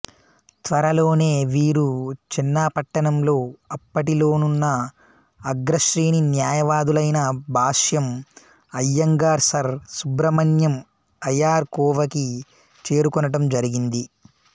త్వరలోనే వీరు చన్నపట్ణంలో అప్పటిలోనున్న అగ్రశ్రేణి న్యాయవాదులైన భాష్యం అయ్యంగార్ సర్ సుబ్రమణ్య అయర్ కోవకి చేరుకునటం జరిగింది